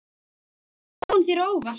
Kemur spáin þér á óvart?